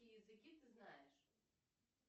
какие языки ты знаешь